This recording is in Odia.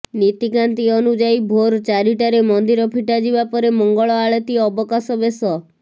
ନିତିକାନ୍ତି ଅନୁଯାୟୀ ଭୋର୍ ଚାରିଟାରେ ମନ୍ଦିର ଫିଟା ଯିବା ପରେ ମଙ୍ଗଳ ଆଳତି ଅବକାଶ ବେଶ